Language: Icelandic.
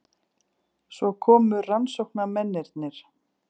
Svo komu rannsóknarmennirnir.